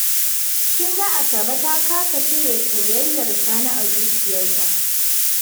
Kin ga Asabe ta kasa cire soyayyar Sani a zuciyarta